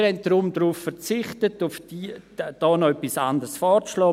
Deshalb haben wir darauf verzichtet, hier noch etwas anderes vorzuschlagen.